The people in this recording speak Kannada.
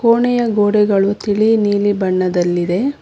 ಕೋಣೆಯ ಗೋಡೆಗಳು ತಿಳಿ ನೀಲಿ ಬಣ್ಣದಲ್ಲಿದೆ.